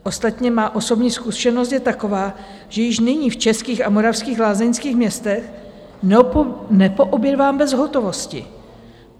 Ostatně má osobní zkušenost je taková, že již nyní v českých a moravských lázeňských městech nepoobědvám bez hotovosti.